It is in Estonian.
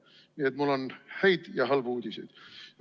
Nii et mul on häid ja halbu uudiseid.